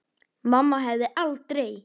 Mamma hefði aldrei.